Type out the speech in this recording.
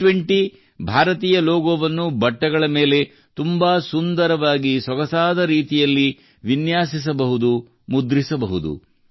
G20 ಭಾರತೀಯ ಲೋಗೋವನ್ನು ಬಟ್ಟೆಗಳ ಮೇಲೆ ತುಂಬಾ ಸುಂದರವಾಗಿ ಸೊಗಸಾದ ರೀತಿಯಲ್ಲಿ ವಿನ್ಯಾಸಿಸಬಹುದು ಮತ್ತು ಮುದ್ರಿಸಬಹುದು